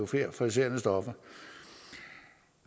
for euforiserende stoffer